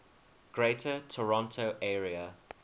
greater toronto area